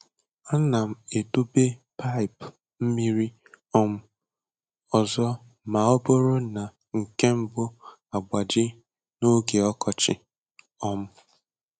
Ana m edobe paịp mmiri um ọzọ ma ọ bụrụ na nke mbụ agbaji n’oge ọkọchị. um